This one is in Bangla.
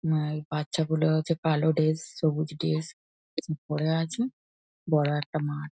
উম আ এই বাচ্চা গুলো হচ্ছে কালো ডেস সবুজ ডেস পরে আছে বড় একটা মাঠ।